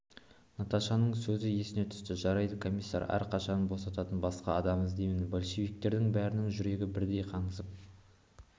наташаның сөзі есіне түсті жарайды комиссар аркашаны босататын басқа адам іздеймін большевиктердің бәрінің жүрегі бірдей қаңсып